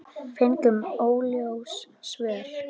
Fengum óljós svör.